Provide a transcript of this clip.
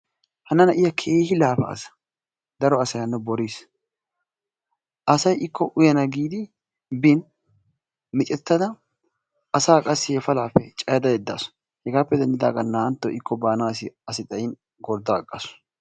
hana na'iya keehi laafaasu. daro asay hano boriisi. asay ikko utyana giidi bin miicettada asa qassi he palaappe cayada yedaasu. hegaappe denddidaagan naa'anti ikko asi baana xayin utta agaasu